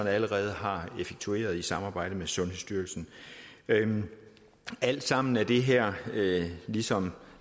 allerede har effektueret i samarbejde med sundhedsstyrelsen alt sammen er det her ligesom